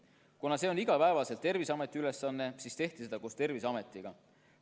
Kuna see on Terviseameti igapäevane ülesanne, siis tehti seda koos Terviseametiga.